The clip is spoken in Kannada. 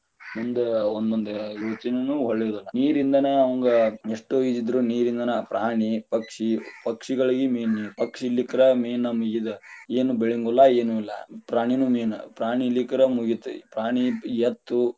ಮುಂದ ಒಂದ ಒಂದ ಯೋಚನೆನು ಹೊಳಿಯುದಿಲ್ಲಾ, ನೀರಿಂದನಾ ಅವಂಗ ಎಷ್ಟೋ ಇದ ಇದ್ರನು ನೀರಿಂದನಾ ಪ್ರಾಣಿ ಪಕ್ಷಿ ಪಕ್ಷಿಗಳಿಗೆ main ನೀರ ಪಕ್ಷಿ ಇರಲಿಕ್ಕರ main ನಮಗ ಇದ ಏನು ಬೆಳಿಯುಂಗಿಲ್ಲಾ, ಏನು ಇಲ್ಲಾ ಪ್ರಾಣಿನು main ಪ್ರಾಣಿ ಇರಲಿಕ್ಕರ ಮುಗಿತ, ಪ್ರಾಣಿ ಎತ್ತು.